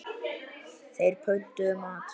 Þeir pöntuðu mat.